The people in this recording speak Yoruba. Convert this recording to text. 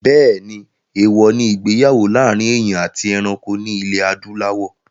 Bẹ́ẹ̀ni, èwọ̀ ní ìgbéyàwó láàrin èèyàn àti ẹranko ní ilẹ̀ adúláwọ̀